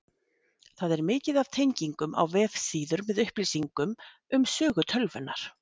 Þar er mikið af tengingum á vefsíður með upplýsingum um sögu tölvunnar.